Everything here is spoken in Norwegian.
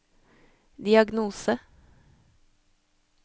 diagnose